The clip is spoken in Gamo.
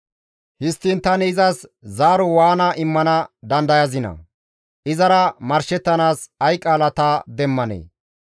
«Histtiin tani izas zaaro waana immana dandayazinaa? Izara marshettanaas ay qaala ta demmanee?